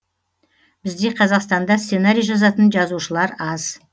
бізде қазақстанда сценарий жазатын жазушылар аз